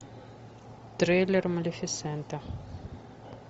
трейлер малефисента